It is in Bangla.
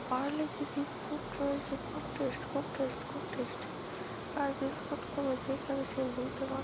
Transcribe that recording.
পারলেজি বিস্কুট রয়েছে খুব টেস্ট খুব টেস্ট খুব টেস্ট | আর বিস্কুট গুলো যে খাবে সেই ভুলতে পা-- |